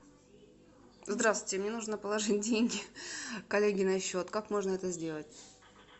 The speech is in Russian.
здравствуйте мне нужно положить деньги коллеге на счет как можно это сделать